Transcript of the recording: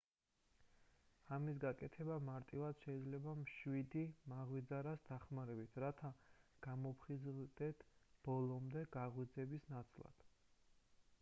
ამის გაკეთება მარტივად შეიძლება მშვიდი მაღვიძარას დახმარებით რათა გამოფხიზლდეთ ბოლომდე გაღვიძების ნაცვლად